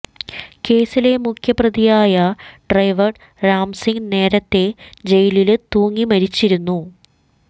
കേസിലെ മുഖ്യപ്രതിയായ ഡ്രൈവര് രാം സിംഗ് നേരത്തെ ജയിലില് തൂങ്ങി മരിച്ചിരുന്നു